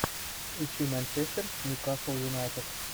ищи манчестер ньюкасл юнайтед